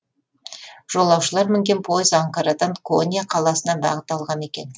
жолаушылар мінген пойыз анкарадан конья қаласына бағыт алған екен